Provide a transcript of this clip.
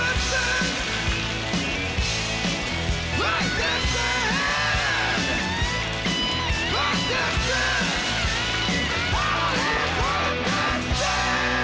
var